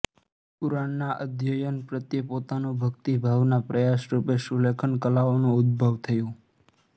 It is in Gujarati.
કુરાનના અધ્યયન પ્રત્યે પોતાનો ભકિતભાવના પ્રયાસરૂપે સુલેખન કલાઓનો ઉદ્ભવ થયો